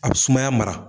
A bɛ sumaya mara